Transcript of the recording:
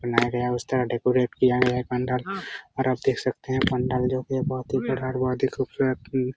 बनाया गया है उस तरह डेकोरेट किया गया है पंडाल और आप देख सकते हैं पंडाल जो की बहुत ही विराट बहुत ही खुबसुरत थी |